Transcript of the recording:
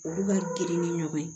Olu ka girin ni ɲɔgɔn ye